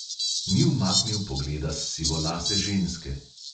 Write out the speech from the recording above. Ni umaknil pogleda s sivolase ženske.